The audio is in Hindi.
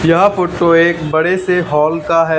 यह फोटो एक बड़े से हॉल का है।